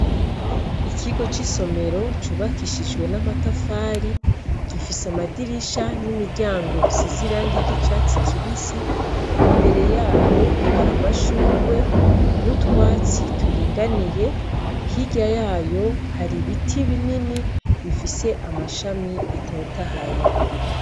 Ikigo c'isomero cubakishijwe n'amatafari gifise amadirisha n'imiryango bisize irangi ry'icatsi kibisi. Imbere yayo hari amashurwe n'utwatsi turinganiye; Hirya yayo hari biti binini bifise amashami atotahaye.